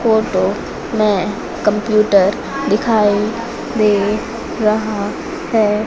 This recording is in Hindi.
फोटो में कंप्यूटर दिखाई दे रहा है।